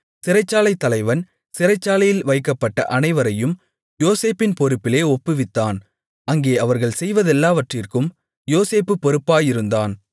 சிறைச்சாலைத் தலைவன் சிறைச்சாலையில் வைக்கப்பட்ட அனைவரையும் யோசேப்பின் பொறுப்பிலே ஒப்புவித்தான் அங்கே அவர்கள் செய்வதெல்லாவற்றிற்கும் யோசேப்பு பொறுப்பாயிருந்தான்